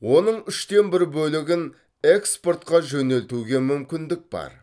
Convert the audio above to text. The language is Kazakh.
оның үштен бір бөлігін экспортқа жөнелтуге мүмкіндік бар